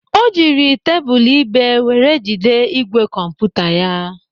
O jiri tebụl ibé were jide ígwè kọmputa ya.